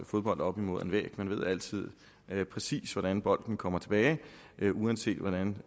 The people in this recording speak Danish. fodbold op imod en væg man ved altid præcis hvordan bolden kommer tilbage uanset hvordan